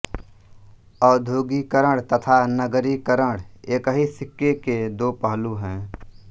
औद्योगीकरण तथा नगरीकरण एक ही सिक्के के दो पहलू हैं